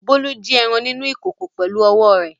Bólú jí ẹran nínú ìkòkò pẹ̀lú ọwọ́ rẹ̀.